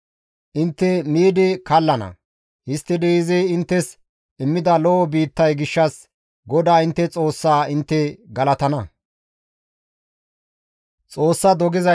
Intte miidi kallana; histtidi izi inttes immida lo7o biittay gishshas GODAA intte Xoossaa intte galatana.